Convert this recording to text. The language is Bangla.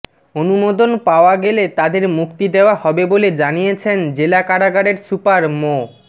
অনুমোদন পাওয়া গেলে তাদের মুক্তি দেওয়া হবে বলে জানিয়েছেন জেলা কারাগারের সুপার মো